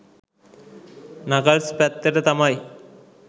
Knuckles පැත්තට තමයි.